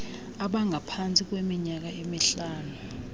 abangaphantsi kweminyaka emihlanu